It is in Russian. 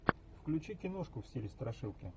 включи киношку в стиле страшилки